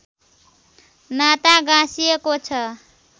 नाता गाँसिएको छ